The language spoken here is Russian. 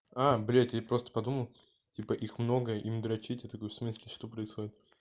а блять я просто подумал типа их много им дрочить я такой в смысле что происходит